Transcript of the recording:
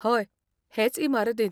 हय, हेच इमारतींत.